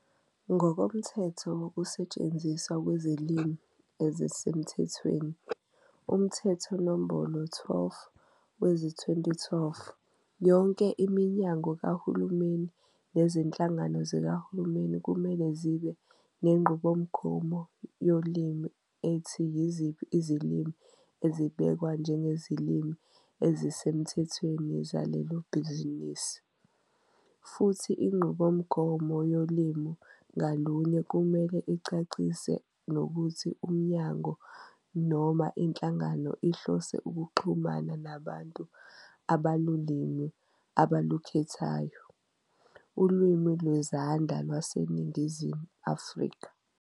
Ngokomthetho Wokusetshenziswa Kwezilimi Ezisemthethweni, uMthetho Nombolo 12 wezi-2012, yonke iminyango kahulumeni nezinhlangano zikahulumeni kumele zibe nenqubomgomo yolimi ethi yiziphi izilimi ezibhekwa njengezilimi ezisemthethweni zalelo bhizinisi, futhi inqubomgomo yolimi ngalunye kumele icacise nokuthi umnyango noma inhlangano ihlose ukuxhumana nabantu abalulimi abalukhethayo "ulimi lwezandla lwaseNingizimu Afrika".